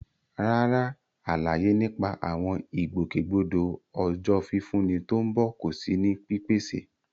Rárá, àlàyé nípa àwọn ìgbòkègbodò Ọjọ́ Fífúnni tó ń bọ̀ kò sí ní pípèsè.